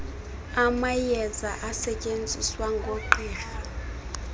amayeza asetyenziswa ngoogqirha